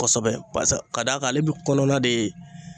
Kosɛbɛ barisa ka d'a ale bi kɔnɔna de